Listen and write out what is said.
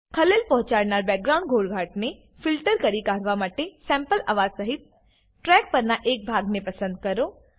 ખલેલ પહોંચાડનારા બેકગ્રાઉન્ડ ઘોંઘાટને ફિલ્ટર કરી કાઢવા માટે સેમ્પલ અવાજ સહીત ટ્રેક પરનાં એક ભાગને પસંદ કરો